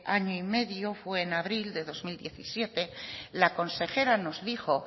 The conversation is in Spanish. año y medio fue en abril de dos mil diecisiete la consejera nos dijo